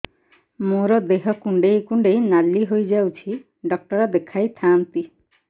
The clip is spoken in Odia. ମୋର ଦେହ କୁଣ୍ଡେଇ କୁଣ୍ଡେଇ ନାଲି ହୋଇଯାଉଛି ଡକ୍ଟର ଦେଖାଇ ଥାଆନ୍ତି